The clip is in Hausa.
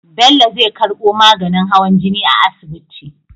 Bello zai karbo maganin hawan jini a asibiti